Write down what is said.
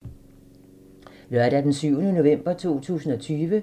Lørdag d. 7. november 2020